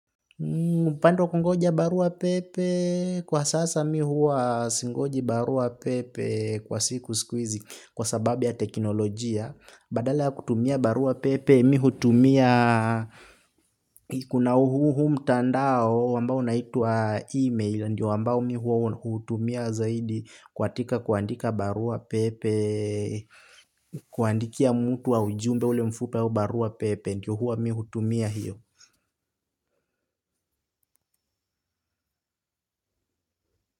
Upande wa kungoja barua pepe kwa sasa mi huwa singoji barua pepe kwa siku siku hizi kwa sababu ya teknolojia. Badala ya kutumia barua pepe mi hutumia kuna huu mtandao ambao unaitwa e-mail. Ndio ambao mi huwa huutumia zaidi katika kuandika barua pepe, kuandikia mtu ujumbe ule mfupi au barua pepe. Ndio huwa mi hutumia hiyo.